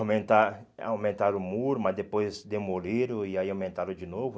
Aumentar aumentaram o muro, mas depois demoliram e aí aumentaram de novo.